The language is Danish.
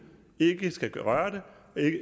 ikke skal røre det